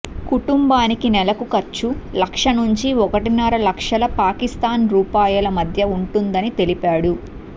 కుటుంబానికి నెలకు ఖర్చు లక్ష నుంచి ఒకటిన్నర లక్షల పాకిస్తాన్ రూపాయల మధ్య ఉంటుందని తెలిపాడు